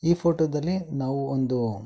ಈ ಫೋಟೋದಲ್ಲಿ ನಾವು ಒಂದು ಉಹ್---